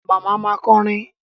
Màmá ma kọrin.